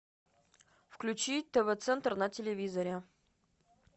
включи тв центр на телевизоре